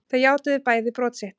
Þau játuðu bæði brot sitt